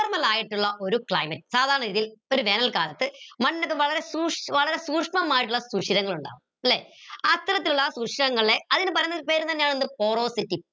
ആയിട്ടുള്ള ഒരു climate സാധാരണഗതിയിൽ ഒരു വേനൽ കാലത്ത് മണ്ണിൽ ഒക്കെ വളരെ സൂക്ഷ്മമായ ശൂഷിരങ്ങൾ ഉണ്ടാവും ല്ലെ അത്തരത്തിലുള്ള ശൂഷിരങ്ങളെ അതിന് പറയുന്നൊരു പേര് എന്താ porosity